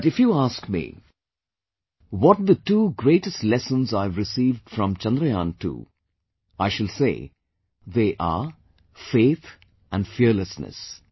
But if you ask me what the two greatest lessons I have received from Chandrayaan II, I shall say they are Faith & Fearlessness